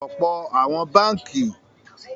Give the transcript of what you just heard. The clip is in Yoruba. Most Nigerian Banks have electric doors